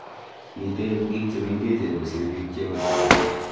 Mitie eng biik chemengechen kosir biik cheosen